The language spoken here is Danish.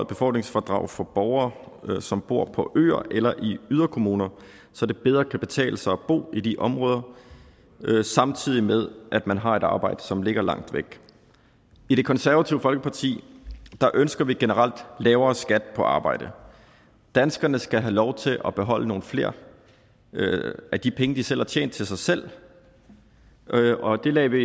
befordringsfradrag for borgere som bor på øer eller i yderkommuner så det bedre kan betale sig at bo i de områder samtidig med at man har et arbejde som ligger langt væk i det konservative folkeparti ønsker vi generelt lavere skatten på arbejde danskerne skal have lov til at beholde nogle flere af de penge de selv har tjent til sig selv og det lagde vi